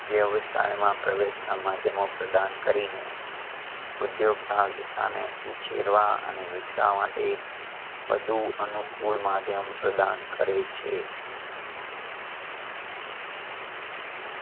વ્યવસાયમાં પ્રવેશના માધ્યમો પ્રદાન કરીને ઉધ્યોગ સહસિક્તાને ઉછેરવા અને વિકસાવા માટે વધુ અનુકૂળ માધ્યમ પ્રદાન કરે છે.